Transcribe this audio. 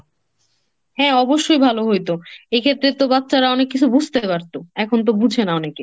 হ্যাঁ অবশ্যই ভালো হইতো। এক্ষেত্রে তো বাচ্চারা অনেক কিছু বুঝতে পারত। এখন তো বুঝে না অনেকে।